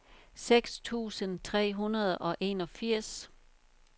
seks tusind tre hundrede og enogfirs